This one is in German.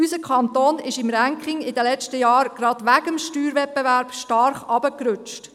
– Unser Kanton ist gerade wegen des Steuerwettbewerbs in den letzten Jahren im Ranking stark nach unten gerutscht.